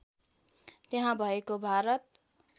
त्यहाँ भएको भारत